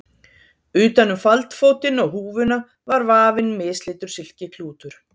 Utan um faldfótinn og húfuna var vafinn mislitur silkiklútur.